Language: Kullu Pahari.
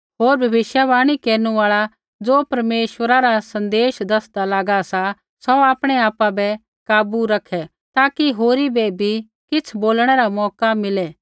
होर भविष्यवाणी केरनु आल़ा ज़ो परमेश्वरा रा सन्देश दसदा लागा सा सौ आपणैआपा बै काबू रखै ताकि होरी बै भी किछ़ बोलणै रा मौका मिलै